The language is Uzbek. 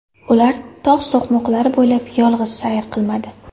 Ular tog‘ so‘qmoqlari bo‘ylab yolg‘iz sayr qilmadi.